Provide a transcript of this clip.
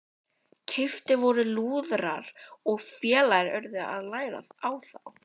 Keyptir voru lúðrar og félagarnir urðu að læra á þá.